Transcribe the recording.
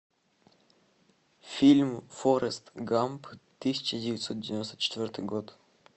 фильм форест гамп тысяча девятьсот девяносто четвертый год